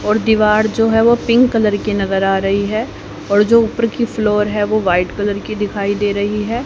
और दीवार जो है वो पिंक कलर के नजर आ रही है और जो ऊपर की फ्लोर है वह वाइट कलर की दिखाई दे रही है।